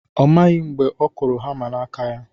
Ọ maghị mgbe ọ kụrụ hama n'aka ya